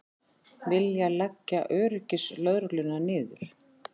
Vilja leggja öryggislögregluna niður